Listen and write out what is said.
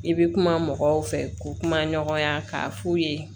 I bɛ kuma mɔgɔw fɛ ko kuma ɲɔgɔnya k'a f'u ye